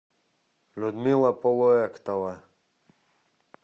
людмила полуэктова